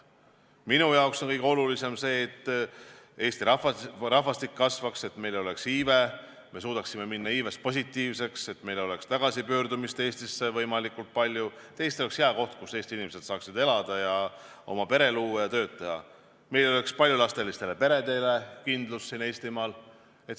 Minu jaoks on kõige olulisem see, et Eesti rahvastik kasvaks, et meil oleks iive, et me suudaksime jõuda selleni, et iive läheks positiivseks, et meil oleks võimalikult palju Eestisse tagasipöördumist, et Eesti oleks hea koht, kus inimesed saaksid elada ja oma pere luua ning tööd teha, et meie lasterikastel peredel oleks kindlus siin Eestimaal.